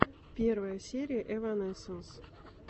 первая серия эванесенс